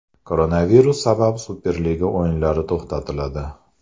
Koronavirus sabab Superliga o‘yinlari to‘xtatiladi.